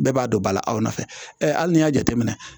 Bɛɛ b'a dɔn bala aw nɔfɛ hali n'i y'a jateminɛ